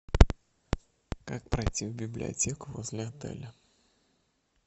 как пройти в библиотеку возле отеля